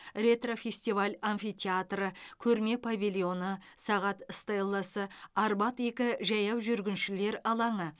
ретро фестиваль амфитеатры көрме павильоны сағат стеласы арбат екі жаяу жүргіншілер алаңы